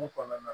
Ko kɔnɔna na